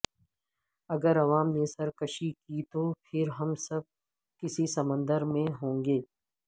اگر عوام نے سرکشی کی تو پھر ہم سب کسی سمندر میں ہوں گے